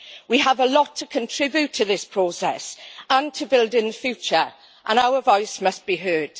We have a lot to contribute to this process and to build in the future, and our voice must be heard.